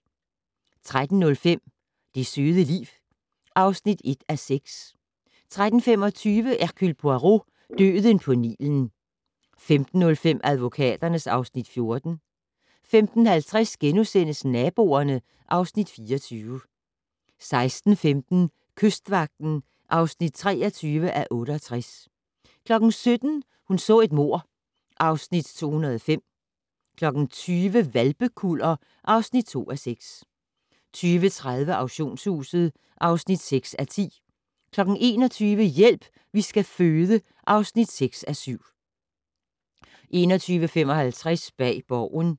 13:05: Det søde liv (1:6) 13:25: Hercule Poirot: Døden på Nilen 15:05: Advokaterne (Afs. 14) 15:50: Naboerne (Afs. 24)* 16:15: Kystvagten (23:68) 17:00: Hun så et mord (Afs. 205) 20:00: Hvalpekuller (2:6) 20:30: Auktionshuset (6:10) 21:00: Hjælp, vi skal føde (6:7) 21:55: Bag Borgen